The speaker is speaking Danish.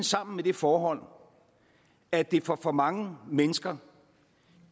sammen med det forhold at det for for mange mennesker